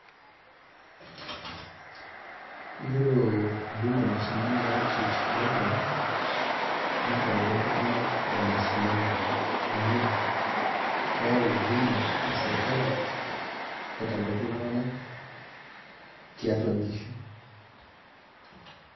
Iyiolo huduma mashinani outreach program, netareto iltung'anak le mashinani amu keeu huduma esirkali, aitabaki iltung'anak tiatua nkishu.